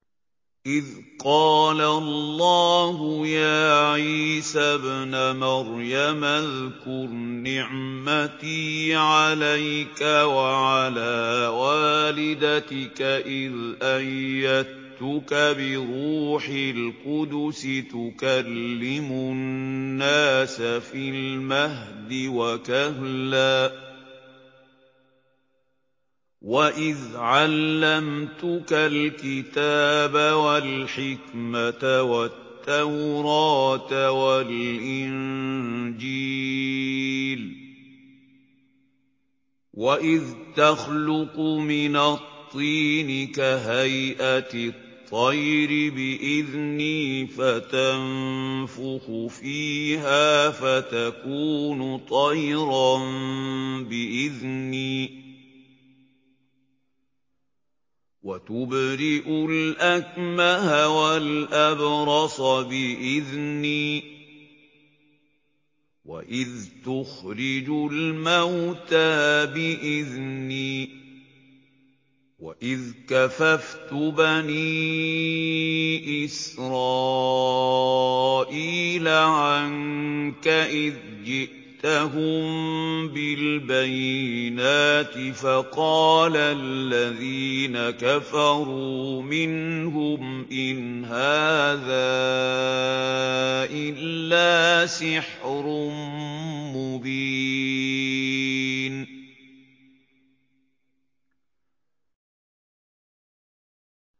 إِذْ قَالَ اللَّهُ يَا عِيسَى ابْنَ مَرْيَمَ اذْكُرْ نِعْمَتِي عَلَيْكَ وَعَلَىٰ وَالِدَتِكَ إِذْ أَيَّدتُّكَ بِرُوحِ الْقُدُسِ تُكَلِّمُ النَّاسَ فِي الْمَهْدِ وَكَهْلًا ۖ وَإِذْ عَلَّمْتُكَ الْكِتَابَ وَالْحِكْمَةَ وَالتَّوْرَاةَ وَالْإِنجِيلَ ۖ وَإِذْ تَخْلُقُ مِنَ الطِّينِ كَهَيْئَةِ الطَّيْرِ بِإِذْنِي فَتَنفُخُ فِيهَا فَتَكُونُ طَيْرًا بِإِذْنِي ۖ وَتُبْرِئُ الْأَكْمَهَ وَالْأَبْرَصَ بِإِذْنِي ۖ وَإِذْ تُخْرِجُ الْمَوْتَىٰ بِإِذْنِي ۖ وَإِذْ كَفَفْتُ بَنِي إِسْرَائِيلَ عَنكَ إِذْ جِئْتَهُم بِالْبَيِّنَاتِ فَقَالَ الَّذِينَ كَفَرُوا مِنْهُمْ إِنْ هَٰذَا إِلَّا سِحْرٌ مُّبِينٌ